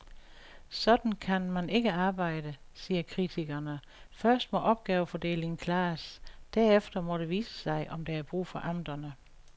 Sådan kan man ikke arbejde, siger kritikerne, først må opgavefordelingen klares, derefter må det vise sig, om der er brug for amterne.